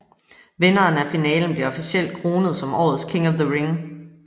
Vinderen af finalen bliver officielt kronet som årets King of the Ring